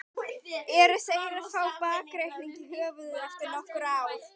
Eru þeir að fá bakreikning í höfuðið eftir nokkur ár?